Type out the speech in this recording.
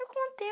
Eu contei.